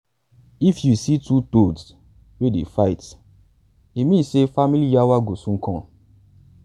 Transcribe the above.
if you see two toads wey dey fight e mean say family yawa go soon come.